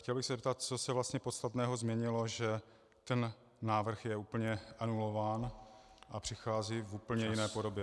Chtěl bych se zeptat, co se vlastně podstatného změnilo, že ten návrh je úplně anulován a přichází v úplně jiné podobě.